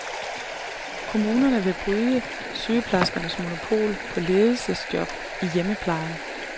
Kommunerne vil bryde sygeplejerskernes monopol på ledelsesjob i hjemmeplejen.